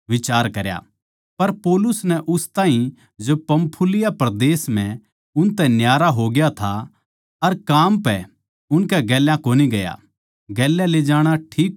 पर पौलुस नै उस ताहीं जो पंफूलिया परदेस म्ह उनतै न्यारा होग्या था अर काम पै उनकै गेल्या कोनी गया गेल्या ले जाणा ठीक कोनी समझया